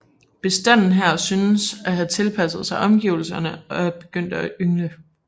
Bestanden her synes at have tilpasset sig omgivelserne og er begyndt at yngle